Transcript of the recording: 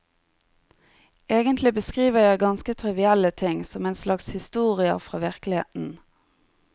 Egentlig beskriver jeg ganske trivielle ting, som en slags historier fra virkeligheten.